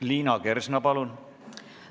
Liina Kersna, palun!